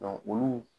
olu